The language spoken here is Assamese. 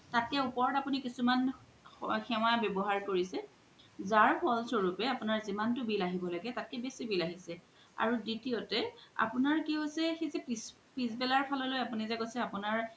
তাতে ওপৰত আপুনি কিছুমান সেৱা ৱ্যাবহাৰ কৰিছে জাৰ ফল্শো ৰুপে আপুনাৰ জিমান তু bill আহিব লাগে তাতকে বেচি bill আহিছে আৰু দ্বিতীয়তে আপুনাৰ কি হোইছে সেই জে পিচবালাৰ ফাল লই আপুনি জে কৈছে